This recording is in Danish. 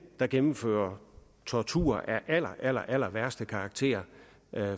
der gennemfører tortur af allerallerværste karakter